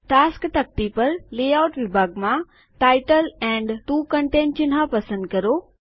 task તકતી પર layout વિભાગમાં શીર્ષક અને 2 કન્ટેન્ટ ચિહ્ન પસંદ કરો